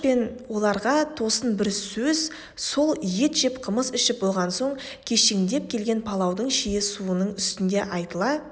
оларға тосын бір сөз сол ет жеп қымыз ішіп болған соң кешеңдеп келген палаудың шие суының үстінде айтыла